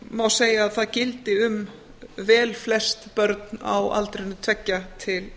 má segja að það gildi um vel flest börn á aldrinum tveggja til